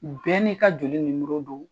Bɛɛ n'i ka joli nimoro do.